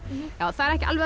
það er ekki alveg